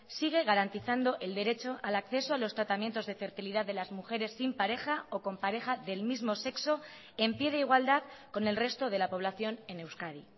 sigue garantizando el derecho al acceso a los tratamientos de fertilidad delas mujeres sin pareja o con pareja del mismo sexo en pie de igualdad con el resto de la población en euskadi